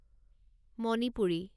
Manipuri